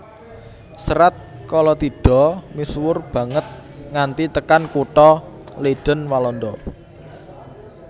Serat Kalatidha misuwur banget nganti tekan kutha Leiden Walanda